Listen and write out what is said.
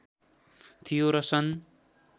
थियो र सन्